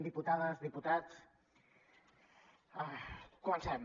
diputades diputats comencem